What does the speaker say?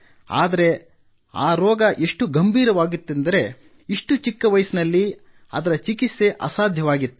ಆದರೆ ರೋಗ ಎಷ್ಟು ಗಂಭೀರವಾಗಿತ್ತೆಂದರೆ ಇಷ್ಟು ಚಿಕ್ಕ ವಯಸ್ಸಿನಲ್ಲಿ ಅದರ ಚಿಕಿತ್ಸೆ ಅಸಾಧ್ಯವಾಗಿತ್ತು